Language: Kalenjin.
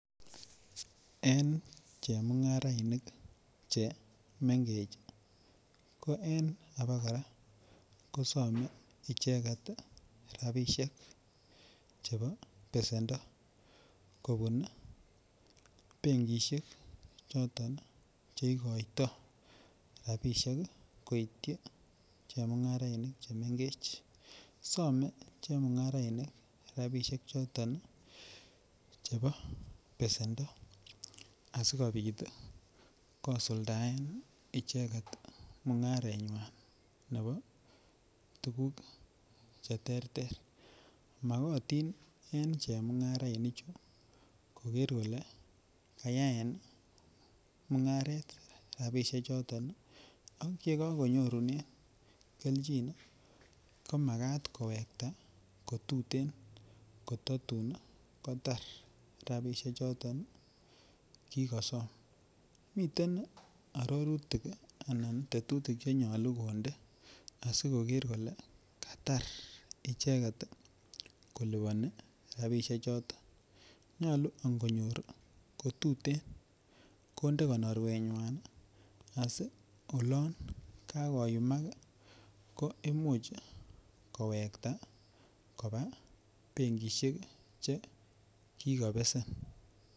En che mungarainik che mengech ii ko en aba kora kosome icheget rabishek chebo besendo kobun ii benkishek choton che igoito rabishek ii koityi che mungarainik che mengech. Some che mungarainik rabishek choton ii chebo besendo asikopit ii kosuldaen icheget mungarenywan nebo tuguk che terter. Makotin en che mungarainik ichu koger kole kayaen mungaret rabishek choton ii ak ye kogonyorunen kelchin ko makat kiwekta ko tuten kot tatun kotar rabishek choton che kikosom. Miten arorutik anan tetutik che nyoluu konde asi koger kole Katar icheget koliponi rabishek choton. Nyoluu angonyor kotuten konde konorwenywan asi olon kagoyumak ii ko imuch kowekta kobaa benkishek che kikobesen.